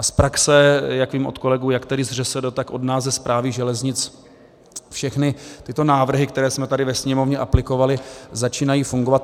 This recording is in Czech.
A z praxe, jak vím od kolegů jak tady z ŘSD, tak od nás ze Správy železnic, všechny tyto návrhy, které jsme tady ve Sněmovně aplikovali, začínají fungovat.